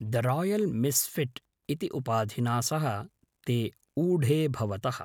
The royal misfit इति उपाधिना सह ते ऊढे भवतः।